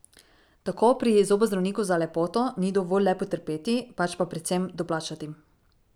Tako pri zobozdravniku za lepoto ni dovolj le potrpeti, pač pa predvsem doplačati.